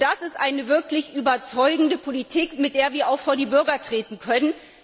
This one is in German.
Nur das ist eine wirklich überzeugende Politik, mit der wir auch vor die Bürger treten können.